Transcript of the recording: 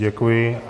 Děkuji.